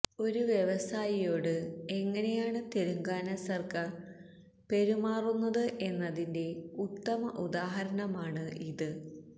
ഒരു വ്യവസായിയോട് എങ്ങനെയാണ് തെലുങ്കാന സർക്കാർ പെരുമാറുന്നത് എന്നതിന്റെ ഉത്തമ ഉദാഹരണമാണ് ഇത്